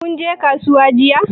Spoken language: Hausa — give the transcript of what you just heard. Kinje kasuwan jiya?